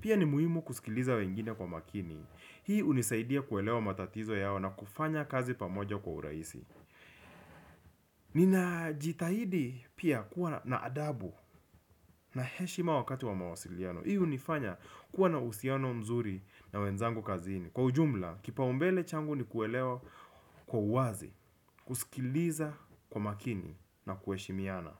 Pia ni muhimu kusikiliza wengine kwa makini. Hii hunisaidia kuelewa matatizo yao na kufanya kazi pamoja kwa urahisi. Ninajitahidi pia kuwa na adabu na heshima wakati wa mawasiliano hii hunifanya kuwa na uhusiano mzuri na wenzangu kazini. Kwa ujumla kipaumbele changu ni kuelewa kwa uwazi. Kusikiliza kwa makini na kuheshimiana.